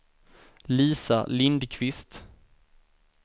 Lisa Lindkvist